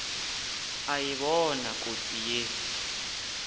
a e bona kotsi ye